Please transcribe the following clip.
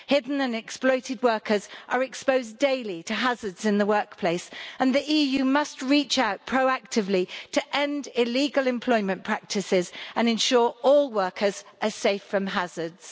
Hidden and exploited workers are exposed daily to hazards in the workplace, and the EU must reach out proactively to end illegal employment practices and ensure all workers are safe from hazards.